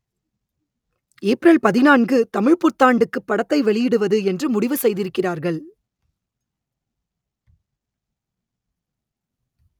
April பதினான்கு தமிழ்ப் புத்தாண்டுக்கு படத்தை வெளியிடுவது என்று முடிவு செய்திருக்கிறார்கள்